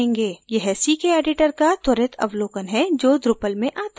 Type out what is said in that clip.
यह ckeditor का त्वरित अवलोकन है जो drupal में आता है